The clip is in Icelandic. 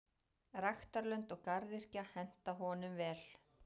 Ræktarlönd og garðyrkja henta honum vel.